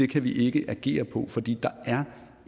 kan vi ikke agere på fordi der